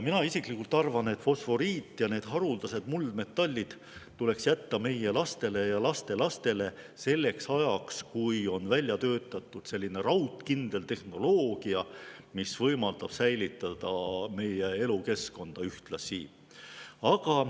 Mina isiklikult arvan, et fosforiit ja haruldased muldmetallid tuleks jätta meie lastele ja lastelastele selleks ajaks, kui on välja töötatud raudkindel tehnoloogia, mis võimaldab ühtlasi säilitada meie elukeskkonda.